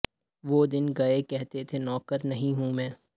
وہ دن گئے کہتے تھے نوکر نہیں ہوں میں